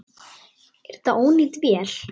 Er þetta ónýt vél?